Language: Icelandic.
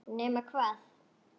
Nema hvað!